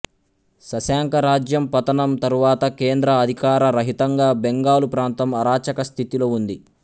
శశాంకా రాజ్యం పతనం తరువాత కేంద్ర అధికార రహితంగా బెంగాలు ప్రాంతం అరాచక స్థితిలో ఉంది